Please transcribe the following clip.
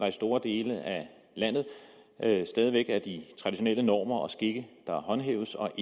i store dele af landet stadig væk er de traditionelle normer og skikke der håndhæves og